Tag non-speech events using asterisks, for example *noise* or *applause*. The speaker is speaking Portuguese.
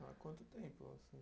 Há quanto tempo? *unintelligible*